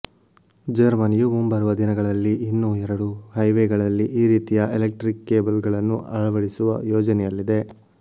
ಜರ್ಮನಿಯು ಮುಂಬರುವ ದಿನಗಳಲ್ಲಿ ಇನ್ನೂ ಎರಡು ಹೈವೇಗಳಲ್ಲಿ ಈ ರೀತಿಯ ಎಲೆಕ್ಟ್ರಿಕ್ ಕೇಬಲ್ಗಳನ್ನು ಅಳವಡಿಸುವ ಯೋಜನೆಯಲ್ಲಿದೆ